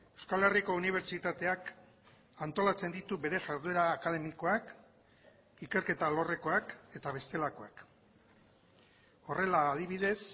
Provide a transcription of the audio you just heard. euskal herriko unibertsitateak antolatzen ditu bere jarduera akademikoak ikerketa alorrekoak eta bestelakoak horrela adibidez